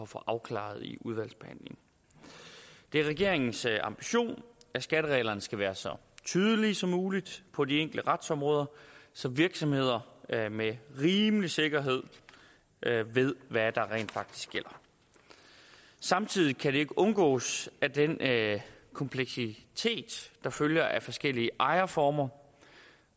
få afklaret i udvalgsbehandlingen det er regeringens ambition at skattereglerne skal være så tydelige som muligt på de enkelte retsområder så virksomheder med rimelig sikkerhed ved hvad der rent faktisk gælder samtidig kan det ikke undgås at den kompleksitet der følger af forskellige ejerformer